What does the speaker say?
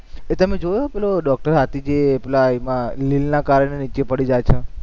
એ તમે જોયું પેલો ડોક્ટર હાથી એ પેલા એમાં કાર નીચે પડી જાય છે?